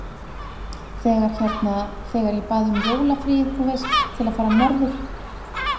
Þegar hérna. þegar ég bað um jólafríið, þú veist. til að fara norður.